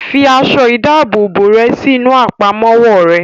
Fi aṣọ ìdábòbò rẹ̀ sí inú Àpámọ́wọ́ rẹ̀!